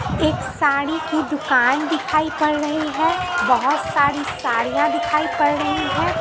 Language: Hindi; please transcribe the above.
एक साड़ी की दुकान दिखाई पड़ रही है बहोत सारी साड़ीया दिखाई पड़ रही है।